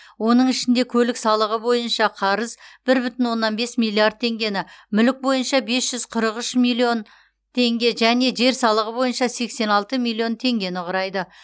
оның ішінде көлік салығы бойынша қарыз бір бүтін онна бес миллиард теңгені мүлік бойынша бес жүз қырық үш миллион теңге және жер салығы бойынша сексен алты миллион теңгені құрайды